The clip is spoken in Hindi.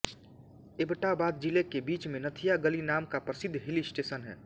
ऐब्टाबाद ज़िले के बीच में नथिया गली नाम का प्रसिद्ध हिलस्टेशन है